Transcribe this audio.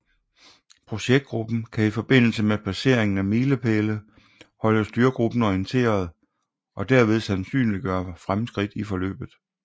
Projektgruppen kan i forbindelse med passeringen af milepæle holde styregruppen orienteret og derved sandsynliggøre fremskridt i forløbet